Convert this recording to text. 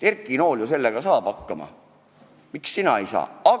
Erki Nool ju saab sellega hakkama, miks sina ei saa?